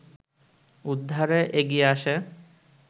উদ্ধারে এগিয়ে আসে